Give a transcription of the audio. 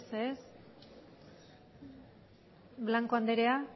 ez ez blanco anderea